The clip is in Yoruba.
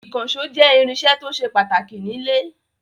Ìkànṣó jẹ́ irinṣẹ́ tó ṣe pàtàkì nílé.